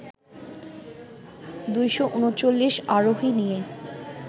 ২৩৯ আরোহী নিয়ে